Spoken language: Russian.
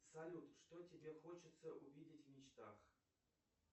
салют что тебе хочется увидеть в мечтах